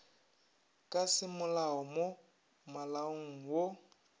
ka semolao mo malaong wo